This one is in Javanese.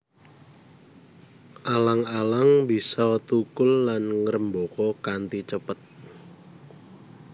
Alang alang bisa thukul lan ngrembaka kanthi cepet